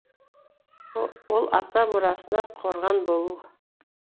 ол ата мұрасына қорған болу